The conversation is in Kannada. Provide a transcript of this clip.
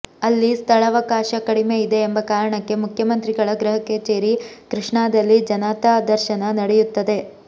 ಅಲ್ಲಿ ಸ್ಥಳವಕಾಶ ಕಡಿಮೆ ಇದೆ ಎಂಬ ಕಾರಣಕ್ಕೆ ಮುಖ್ಯಮಂತ್ರಿಗಳ ಗೃಹ ಕಚೇರಿ ಕೃಷ್ಣಾದಲ್ಲಿ ಜನತಾದರ್ಶನ ನಡೆಯುತ್ತದೆ